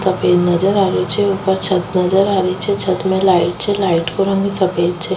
सफ़ेद नजर आ रो छे ऊपर छत नजर आ री छे छत में लाइट छे लाइट को रंग सफ़ेद छे।